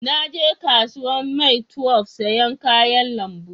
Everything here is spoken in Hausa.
Na je kasuwan maitwef sayan kayan lambu